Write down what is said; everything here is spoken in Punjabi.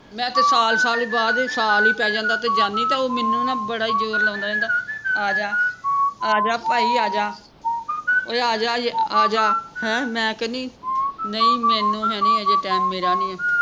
ਮੈਂ ਤੇ ਸਾਲ ਸਾਲ ਬਾਅਦ ਹੀ ਸਾਲ ਹੀ ਪੈ ਜਾਂਦਾ ਤੇ ਜਾਣੀ ਤੇ ਉਹ ਮੈਨੂੰ ਨਾ ਬੜਾ ਹੀ ਜ਼ੋਰ ਲਾਉਂਦਾ ਰਹਿੰਦਾ ਆਜਾ ਆਜਾ ਭਾਈ ਆਜਾ ਓਏ ਆਜਾ ਅਹ ਆਜਾ ਹੈਂ ਮੈਂ ਕਹਿਣੀ ਨਹੀਂ ਮੈਨੂੰ ਹੈ ਹੈਨੀ ਅਜੇ ਟੈਮ ਮੇਰਾ ਨਹੀਂ